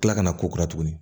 Kila ka na kora tuguni